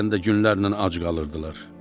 Bəzən də günlərlə ac qalırdılar.